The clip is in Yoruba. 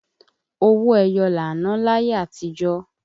Owó ẹyọ là ń ná láyé àtíjọ̀